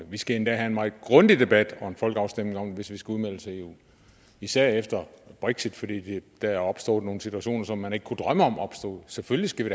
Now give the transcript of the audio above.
vi skal endda have en meget grundig debat og en folkeafstemning om det hvis vi skal udmeldes af eu især efter brexit fordi der er opstået nogle situationer som man ikke kunne drømme om opstod selvfølgelig skal vi